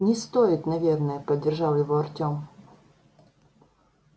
не стоит наверное поддержал его артём